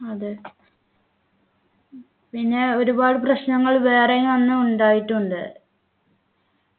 അതെ പിന്നെ ഒരുപാട് പ്രശ്നങ്ങൾ വേറെങ്ങാനും ഉണ്ടായിട്ടുണ്ട്